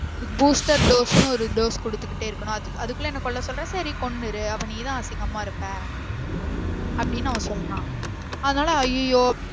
இது booster dose னு ஒரு dose குடுத்துகிட்டே இருக்கணும் அதுக்குள்ள என்ன கொல்ல சொல்ற சரி கொன்னுறு அப்போ நீதான் அசிங்கமா இருப்ப அப்டின்னு அவன் சொல்றான் அதுனால அய்யய்யோ